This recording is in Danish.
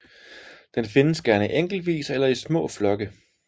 Den findes gerne enkeltvis eller i små flokke